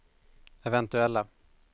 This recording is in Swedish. eventuella